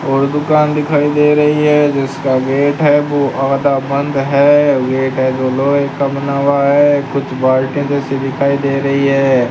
और दुकान दिखाई दे रही है जिसका गेट है वो आधा बंद है गेट है जो लोहे का बना हुआ है कुछ बाल्टी जैसे दिखाई दे रही है।